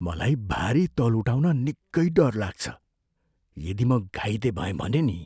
मलाई भारी तौल उठाउन निकै डर लाग्छ। यदि म घाइते भएँ भने नि?